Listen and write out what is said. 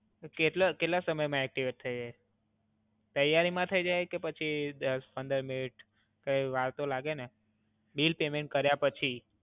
કેટલા સમય માં એક્ટિવેટ થય જાય? તૈયારી માં થય જાય છે પછી દસ-પંદર મિનિટ, કાઇ વાર તો લાગે ને. બિલ પેમેન્ટ કર્યા પછી.